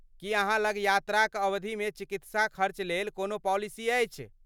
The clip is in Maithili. की अहाँ लग यात्राक अवधिमे चिकित्साक खर्चलेल कोनो पॉलिसी अछि?